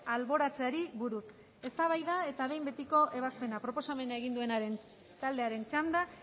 alboratzeari buruz eztabaida eta behin betiko ebazpena proposamena egin duen taldearen txanda